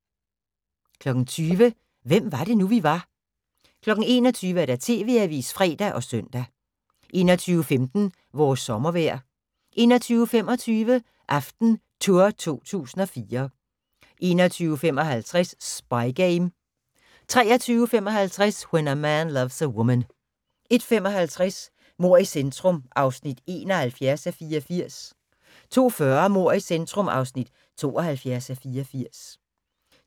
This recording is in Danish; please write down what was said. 20:00: Hvem var det nu, vi var 21:00: TV-avisen (fre og søn) 21:15: Vores sommervejr 21:25: AftenTour 2014 21:55: Spy Game 23:55: When a Man Loves a Woman 01:55: Mord i centrum (71:84) 02:40: Mord i centrum (72:84)